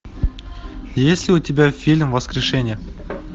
есть ли у тебя фильм воскрешение